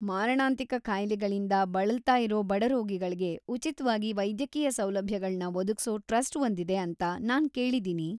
ಮಾರಣಾಂತಿಕ ಕಾಯಿಲೆಗಳಿಂದ ಬಳಲ್ತಾ ಇರೋ ಬಡ ರೋಗಿಗಳ್ಗೆ ಉಚಿತ್ವಾಗಿ ವೈದ್ಯಕೀಯ ಸೌಲಭ್ಯಗಳ್ನ ಒದಗ್ಸೋ ಟ್ರಸ್ಟ್ ಒಂದಿದೆ ಅಂತ ನಾನ್‌ ಕೇಳಿದೀನಿ.